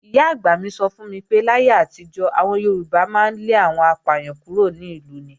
Ìyá-àgbà mi sọ fún mi pé, láyé àtijọ́, àwọn Yorùbá máa ń lé àwọn apàyàn kúrò ní ìlú ni.